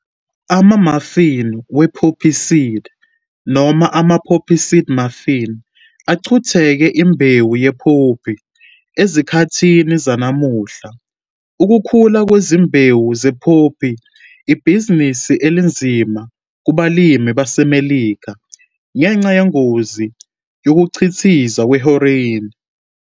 Ama-muffin we-poppyseed, noma ama- poppy seed muffin, aqukethe imbewu ye-poppy. Ezikhathini zanamuhla, ukukhula kwezimbewu ze-poppy ibhizinisi elinzima kubalimi baseMelika, ngenxa yengozi yokukhiqizwa kwe-heroin.